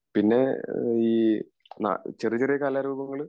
പിന്നെ ഈ ചെറിയ ചെറിയ കലാരൂപങ്ങൾ